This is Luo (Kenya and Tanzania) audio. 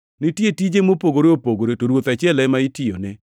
Nitie tije mopogore opogore, to Ruoth achiel ema itiyone.